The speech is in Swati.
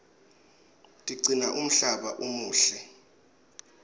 tigcina umhlaba umuhle